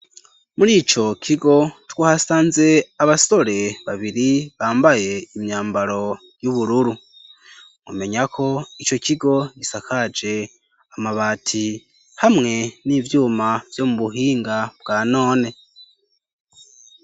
Muri ico kigo twahasanze abasore babiri bambaye imyambaro y'ubururu, mumenya ko ico kigo gisakaje amabati hamwe n'ivyuma vyo mu buhinga bwa none.